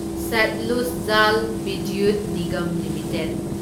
Satluj Jal Vidyut Nigam limited